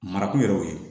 Marako yɛrɛ y'o ye